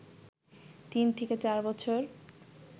তিন থেকে চার বছর